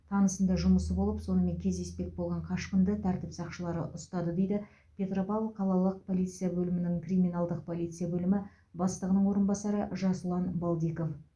танысында жұмысы болып сонымен кездеспек болған қашқынды тәртіп сақшылары ұстады дейді петропавл қалалық полиция бөлімінің криминалдық полиция бөлімі бастығының орынбасары жасұлан балдиков